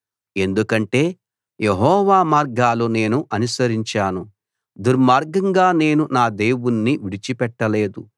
ఎందుకంటే యెహోవా మార్గాలు నేను అనుసరించాను దుర్మార్గంగా నేను నా దేవుణ్ణి విడిచిపెట్టలేదు